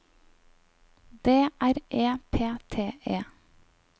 D R E P T E